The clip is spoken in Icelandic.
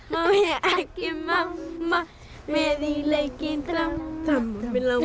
má ég ekki mamma með í leikinn þramma mig langar